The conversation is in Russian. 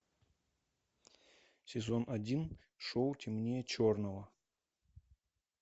сезон один шоу темнее черного